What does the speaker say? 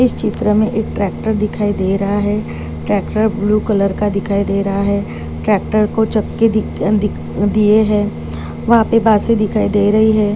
इस चित्र मे एक ट्राक्टर दिखाई दे रहा है ट्राक्टर ब्लू कलर का दिखाई दे रहा है ट्राक्टर को चक्के दिख्ख दिख्खन दिए है वहा पे बासे दिखाई दे रही है।